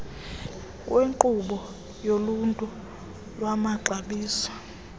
wenkqubo yoluhlu lwamaxabiso